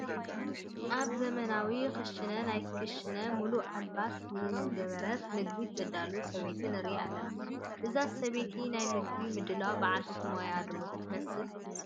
ኣብ ዘመናዊ ክሽነ ናይ ክሽነ ሙሉእ ኣልባስ ዝገበረት ምግቢ ተዳሉ ሰበይቲ ንርኢ ኣለና፡፡ እዛ ሰበይቲ ናይ ምግቢ ምድላው በዓልቲ ሞያ ዶ ትመስል?